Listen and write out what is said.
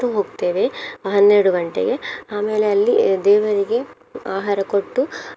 ಹೋಗ್ತೇವೆ ಅಹ್ ಹನ್ನೆರಡು ಗಂಟೆಗೆ ಆಮೇಲೆ ಅಲ್ಲಿ ದೇವರಿಗೆ ಆಹಾರ ಕೊಟ್ಟು.